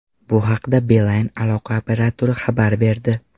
Bu haqda Beeline aloqa operatori xabar berdi.